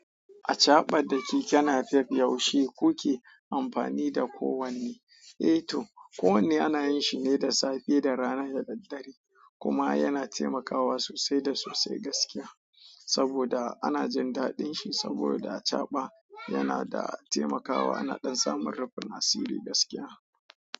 A caɓa da keke Napep yaushe kuke amfani da kowanne. Eh to, kowanne ana yin shi ne da safe da rana da daddare kuma yana taimakawa sosai da sosai gaskiya. Saboda ana jin daɗin shi saboda acaɓa yana da taimakawa ana ɗan samun rufin asiri gaskiya.